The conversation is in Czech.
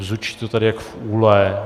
Bzučí to tady jako v úle.